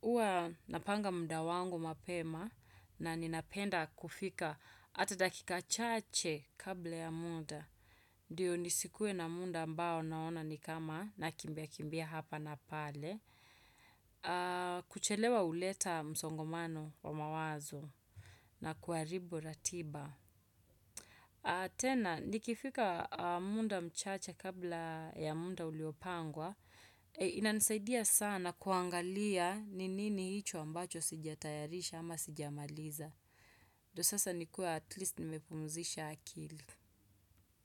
Huwa napanga muda wangu mapema, na ninapenda kufika hata dakika chache kabla ya muda. Ndio nisikuwe na muda ambao naona ni kama nakimbia kimbia hapa na pale. Kuchelewa huleta msongomano wa mawazo na kuharibu ratiba. Tena, nikifika muda mchache kabla ya muda uliopangwa. Inanisaidia sana kuangalia ni nini hicho ambacho sijatayarisha ama sijamaliza. Ndio sasa nikuwe at least nimepumzisha akili.